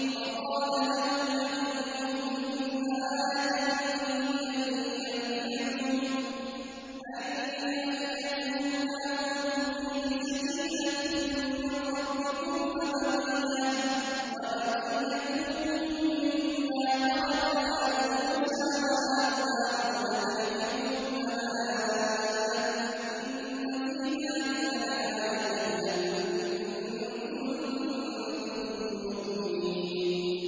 وَقَالَ لَهُمْ نَبِيُّهُمْ إِنَّ آيَةَ مُلْكِهِ أَن يَأْتِيَكُمُ التَّابُوتُ فِيهِ سَكِينَةٌ مِّن رَّبِّكُمْ وَبَقِيَّةٌ مِّمَّا تَرَكَ آلُ مُوسَىٰ وَآلُ هَارُونَ تَحْمِلُهُ الْمَلَائِكَةُ ۚ إِنَّ فِي ذَٰلِكَ لَآيَةً لَّكُمْ إِن كُنتُم مُّؤْمِنِينَ